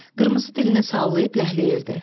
Qırmızı dilini sallayıb ləhləyirdi.